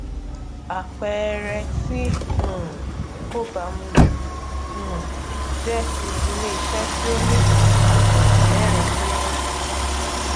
àpẹẹrẹ tí um ó baamu ju um jẹ ti iléiṣẹ tí ó ní àsùnwòn mẹrin péré